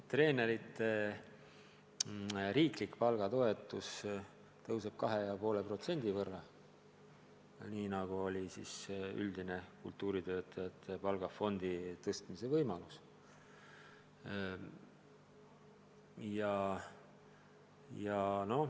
Treenerite riiklik palgatoetus kasvab 2,5% võrra – selline on üldine kultuuritöötajate palgafondi suurendamise võimalus.